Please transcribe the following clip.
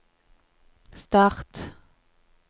start